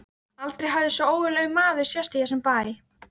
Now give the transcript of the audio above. Aldrei hafði svo ógurlegur maður sést í þessum bæ.